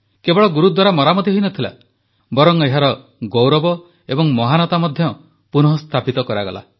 କେବଳ ଗୁରୁଦ୍ୱାରା ମରାମତି ହୋଇନଥିଲା ବରଂ ଏହାର ଗୌରବ ଏବଂ ମହାନତା ମଧ୍ୟ ପୁନଃସ୍ଥାପିତ କରାଗଲା